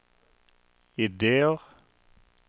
ideer